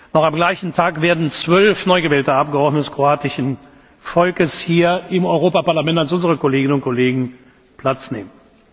Noch am gleichen Tag werden zwölf neu gewählte Abgeordnete des kroatischen Volkes hier im Europäischen Parlament als unsere Kolleginnen und Kollegen Platz nehmen.